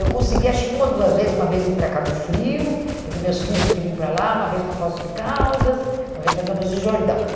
Eu conseguia, acho que uma ou duas vezes, uma vez ir para Cabo Frio, porque meus filhos queriam ir para lá, uma vez para Poços de Caldas, uma vez para Campos de Jordão.